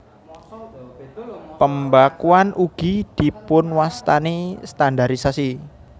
Pembakuan ugi dipunwastani standarisasi